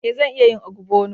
Eh, zan iya yin ogbono